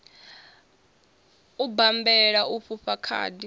u bammbela u fhufha khadi